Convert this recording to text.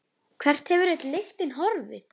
Hvert hefur öll lyktin horfið?